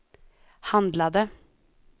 handlade